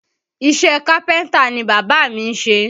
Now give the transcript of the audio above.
Iṣẹ́ kápẹ́ntà ni bàbá mi ń ṣe